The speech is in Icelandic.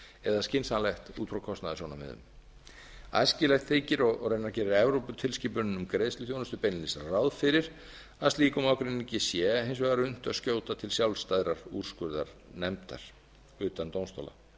eða skynsamlegt út frá kostnaðarsjónarmiðum æskilegt þykir og raunar gerir evróputilskipunin um greiðsluþjónustu beinlínis ráð fyrir að slíkum ágreiningi sé hins vegar unnt að skjóta til sjálfstæðrar úrskurðarnefndar utan dómstóla